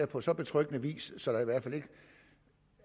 på så betryggende vis